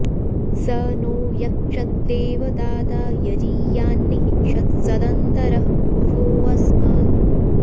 स नो॑ यक्षद्दे॒वता॑ता॒ यजी॑या॒न्नि हि षत्स॒दन्त॑रः॒ पूर्वो॑ अ॒स्मत्